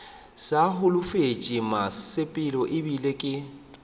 sa holofetše mosepelo ebile ke